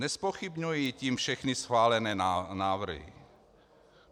Nezpochybňuji tím všechny schválené návrhy.